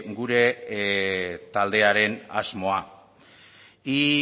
gure taldearen asmoa y